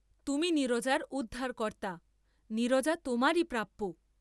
তুমি নীরজার উদ্ধারকর্তা, নীরজা তোমারি প্রাপ্য।